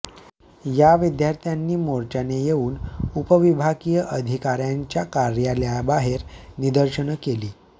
या विद्यार्थ्यांनी मोर्चाने येऊन उपविभागीय अधिकाऱ्यांच्या कार्यालयाबाहेर निदर्शने केली